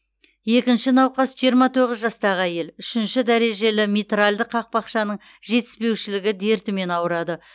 екінші науқас жиырма тоғыз жастағы әйел үшінші дәрежелі митральді қақпақшаның жетіспеушілігі дертімен ауырады